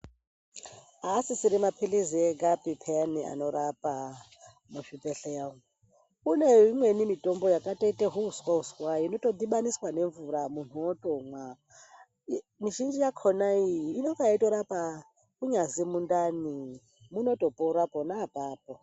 Aasisiri maphilizi egapi pheyani anorapa muzvibhedhleya umu, kune imweni mitombo yakatoite zviuswa uswa inotodhibaniswa nemvura muntu otomwa. Mizhinji yakhona iyi ,inonga yeitorapa kunyazi mundani, munotopora pona apapo.